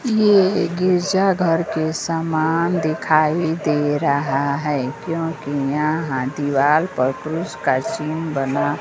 यह गिरजाघर के सामान दिखाई दे रहा है क्यों कि यहां दीवार पर पुरुष का सीन बना--